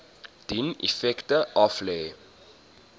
dien effekte aflê